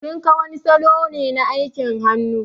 Tinka wani salo ne na aikin hannu.